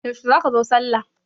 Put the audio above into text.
Yaushe za ka zo sallah?